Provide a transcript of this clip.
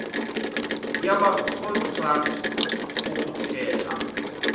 yama contracts okuthela